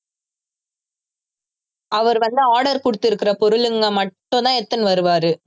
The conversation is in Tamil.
அவர் வந்து order குடுத்துகிற பொருளுங்க மட்டும்தான் எடுத்துன்னு வருவாரு